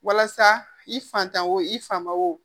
Walasa i fatanw i fa ma wo